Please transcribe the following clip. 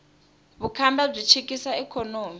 vukhamba byi chikisa ikhonomi